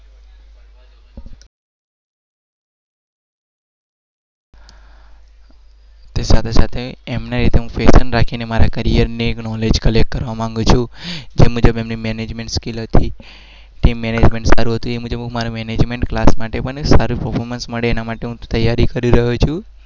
સાથે સાથે